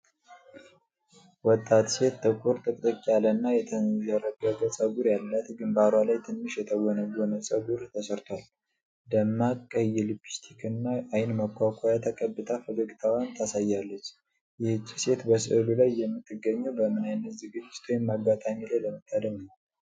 ወጣት ሴት ጥቁር፣ ጥቅጥቅ ያለና የተንዠረገገ ጸጉር ያላት፣ ግንባሯ ላይ ትንሽ የተጎነጎነ ፀጉር ተሠርቷል፤ ደማቅ ቀይ ሊፕስቲክና አይን መኳኳያ ተቀብታ ፈገግታዋን ታሳያለች፤ ይህቺ ሴት በሥዕሉ ላይ የምትገኘው በምን ዓይነት ዝግጅት ወይም አጋጣሚ ላይ ለመታደም ነው?